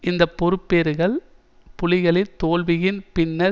இந்த பெறுபேறுகள் புலிகளின் தோல்வியின் பின்னர்